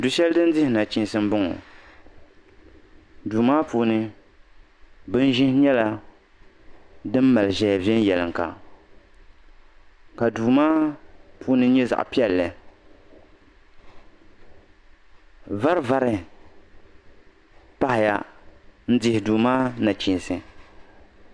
du shɛli puuni din dhi nachiinsi n bɔŋɔ duu maa puuni bin ʒihi nyɛla din mali ʒɛya viɛnyɛlinga ka duu maa puuni nyɛ zaɣ piɛlli vari vari pahaya n dihi duu maa nachiinsi